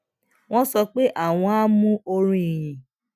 wón sọ pé àwọn á mú orin ìyìn